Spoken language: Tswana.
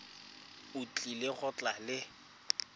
o tlile go tla le